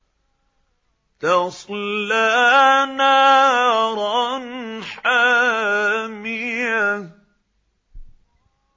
تَصْلَىٰ نَارًا حَامِيَةً